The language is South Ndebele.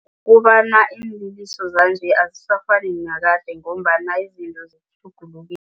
Kobana iinliliso zanje azisafani nakade ngombana izinto zitjhugulukile.